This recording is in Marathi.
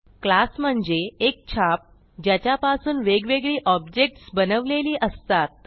क्लास म्हणजे एक छाप ज्याच्यापासून वेगवेगळी ऑब्जेक्ट्स बनवलेली असतात